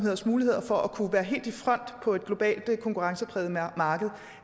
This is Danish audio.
muligheder for at kunne være helt i front på et globalt konkurrencepræget marked